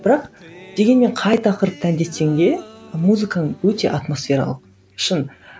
бірақ дегенмен қай тақырыпты әндетсең де музыкаң өте атмосфералық шын